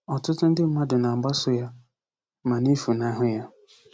Ọtụtụ ndị mmadụ na-agbaso ya ma na-efunahụ ya"